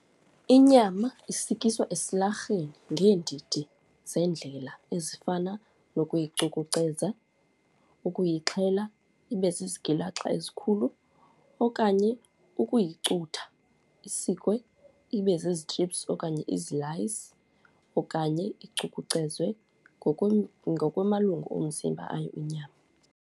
Inyama isikiswa esilarhweni ngeendidi zeendlela ezifana nokuyicukuceza, ukuyixhela ibe zizigilaxa ezikhulu okanye ukuyicutha, isikwe ibe zizi-strips okanye izilayisi. Okanye icukucezwe ngokwamalungu omzimba ayo inyama.